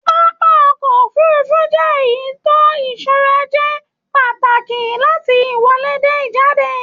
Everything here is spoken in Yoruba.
Pápá ọkọ òfurùnfu jẹ èyí tó ìṣọrà jẹ pàtàkì láti ìwọlé dé ijade